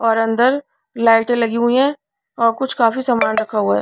और अंदर लाइटें लगी हुई है और कुछ काफी सामान रखा हुआ है.